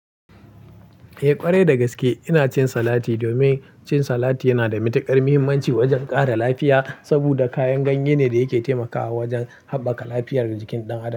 Eh ƙwarai da gaske ina cin salati domin cin salati yana da matiƙar muhimmanci wajen ƙara lafiya saboda kayan ganye ne da yake taimakawa wajan haɓbaka lafiyar jikin ɗan adam.